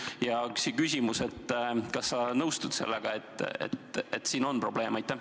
Kas sa siiski nõustud sellega, et siin on probleem?